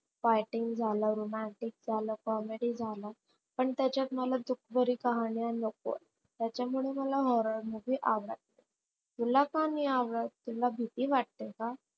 Fighting झाल, romantic झाल, comedy झाल पण त्याच्यात मला दुखभरी कहाण्या नकोत. त्याच्यामुळे मला horror नाही आवडत तुला का नाही आवडत? तुला भिती वाटते का?